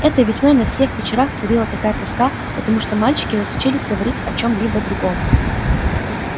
этой весной на всех вечерах царила такая тоска потому что мальчики разучились говорить о чём-либо другом